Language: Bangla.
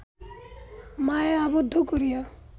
মায়ায় আবদ্ধ করিয়া